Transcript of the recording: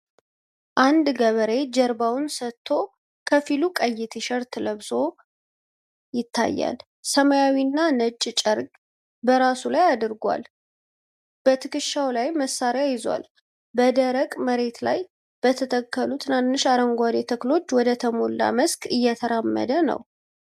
አንድ ገበሬ ጀርባውን ሰጥቶ ከፊሉ ቀይ ቲሸርት ለብሶ ይታያል። ሰማያዊና ነጭ ጨርቅ በራሱ ላይ አድርጓል፤ በትከሻው ላይ መሳሪያ ይዟል። በደረቅ መሬት ላይ በተተከሉ ትናንሽ አረንጓዴ ተክሎች ወደተሞላ መስክ እየተራመደ ነው።